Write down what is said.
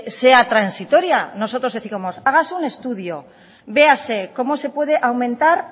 sea transitoria nosotros décimos hágase un estudio véase cómo se puede aumentar